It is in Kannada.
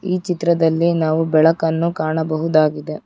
ಈ ಚಿತ್ರದಲ್ಲಿ ನಾವು ಬೆಳಕನ್ನು ಕಾಣಬಹುದಾಗಿದೆ.